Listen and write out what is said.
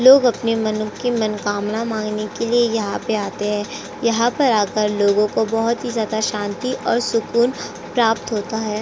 अपनी मनो की मनोकामनाएं मांगने के लिए यहाँ पे आते हैं। यहां पर आकर लोगों को बोहोत ही ज्यादा शांति और सुकून प्राप्त होता है।